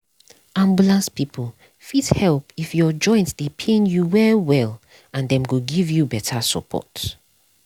ambulance people fit help if your joint dey pain you well well and dem go give you better support.